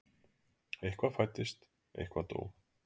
Eitthvað fæddist, eitthvað dó.